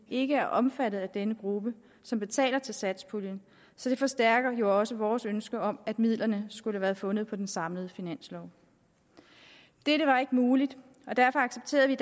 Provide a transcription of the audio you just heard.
ikke er omfattet af den gruppe som betaler til satspuljen så det forstærker jo også vores ønske om at midlerne skulle have været fundet på den samlede finanslov dette var ikke muligt og derfor accepterede vi